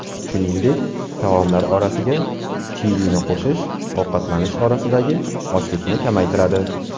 Shuningdek, taomlar orasiga chilini qo‘shish ovqatlanish orasidagi ochlikni kamaytiradi.